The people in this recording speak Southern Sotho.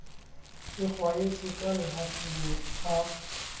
e kgwaetse ka lehafing a